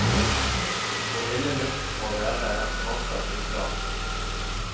Hvor ille luften må være er fortsatt uklart.